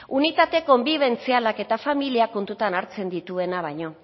unitate konbibentzialak eta familia kontutan hartzen dituena baino